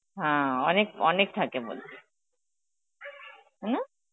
হ্যাঁ অনেক অনেক থাকে বলে, তাই না?